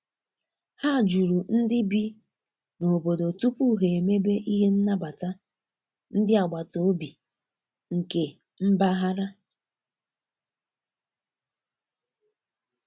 Ha juru ndi bi na obodo tupu ha emebe ihe nnabata ndi abataobi nke mbaghara